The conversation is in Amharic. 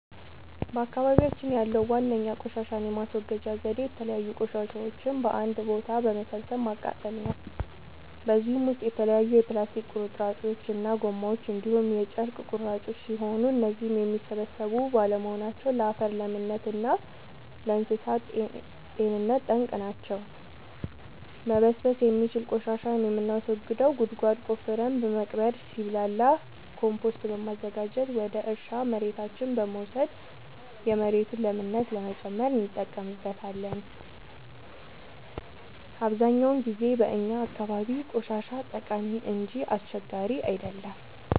በአካባቢያችን ያለዉ ዋነኛ ቆሻሻን የማስወገጃ ዘዴ የተለያዩ ቆሻሻዎችን በአንድ ቦታ በመሰብሰብ ማቃጠል ነው። በዚህም ውስጥ የተለያዩ የፕላስቲክ ቁርጥራጮች እና ጎማዎች እንዲሁም የጨርቅ ቁራጮች ሲሆኑ እነዚህም የሚበሰብሱ ባለመሆናቸው ለአፈር ለምነት እና ለእንሳሳት ጤንነት ጠንቅ ናቸው። መበስበስ የሚችል ቆሻሻን የምናስወግደው ጉድጓድ ቆፍረን በመቅበር ሲብላላ ኮምቶስት በማዘጋጀት ወደ እርሻ መሬታችን በመውሰድ የመሬቱን ለምነት ለመጨመር እንጠቀምበታለን። አብዛኛውን ጊዜ በእኛ አካባቢ ቆሻሻ ጠቃሚ እንጂ አስቸጋሪ አይደለም።